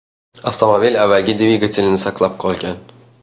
Avtomobil avvalgi dvigatelini saqlab qolgan.